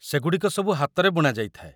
ସେଗୁଡ଼ିକ ସବୁ ହାତରେ ବୁଣାଯାଇଥାଏ